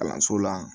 Kalanso la